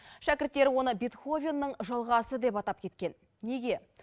шәкірттері оны бетховеннің жалғасы деп атап кеткен неге